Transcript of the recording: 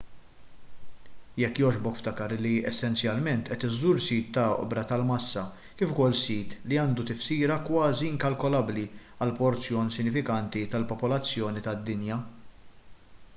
jekk jogħġbok ftakar li essenzjalment qed iżżur sit ta' oqbra tal-massa kif ukoll sit li għandu tifsira kważi inkalkolabbli għal porzjon sinifikanti tal-popolazzjoni tad-dinja